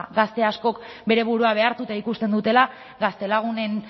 gazte askok bere burua behartuta ikusten dutela gaztelagunen